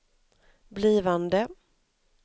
blivande